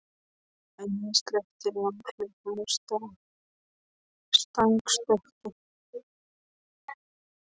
En ég sleppti langhlaupum og stangarstökki.